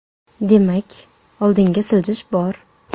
Demak oldinga siljish bor.